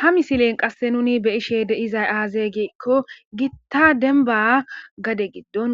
ha misilen qasse nuni be ishe deizay aazeegikko gitta denba gade giddon